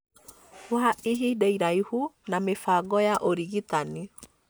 wa ihinda iraihu na mĩbango ya ũrigitani.